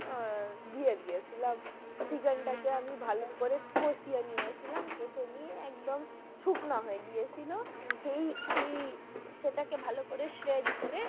আহ দিয়ে দিয়েছিলাম chicken টা কে আমি ভাল করে কষিয়ে নিয়েছিলাম কষে নিয়ে একদম শুখনো হয়ে গিয়ে ছিল আচ্ছা সেই সেই সেটাকে ভাল করে করে,